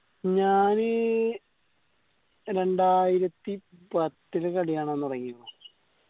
ഞാന് രണ്ടായിരത്തി പത്തില് കളി കാണാൻ തൊടങ്ങിയത്